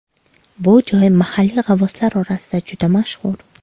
Bu joy mahalliy g‘avvoslar orasida juda mashhur.